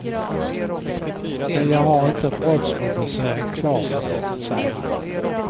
Men jag har inte brottsrubriceringen klar för mig, säger han.